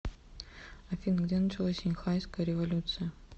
афина где началось синьхайская революция